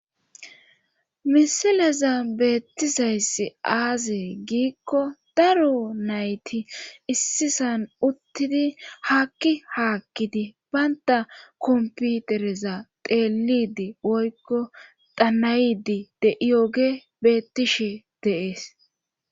misilezan beettizayssi aaze giikko daro nayti issisan uttidi haakki haakkidi bantta kopitereza xeelliiddi woykko xana7iiddi de7iyoogee beettishe de7ees.